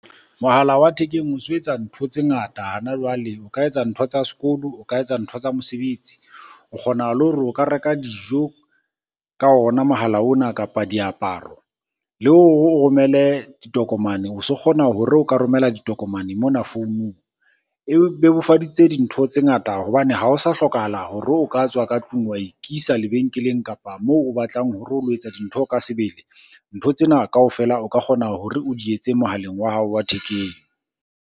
Mohala wa thekeng o so etsa ntho tse ngata hana jwale. O ka etsa ntho tsa sekolo, o ka etsa ntho tsa mosebetsi. O kgona le hore o ka reka dijo ka ona mohala ona, kapa diaparo. Le romele ditokomane, o so kgona hore o ka romela ditokomane mona founung. E bebofaditse dintho tse ngata hobane ha o sa hlokahala hore o ka tswa ka tlung wa ikisa lebenkeleng, kapa moo o batlang hore o lo etsa dintho ka sebele. Ntho tsena kaofela o ka kgona hore o di etse mohaleng wa hao wa thekeng.